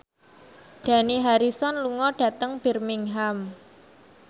Dani Harrison lunga dhateng Birmingham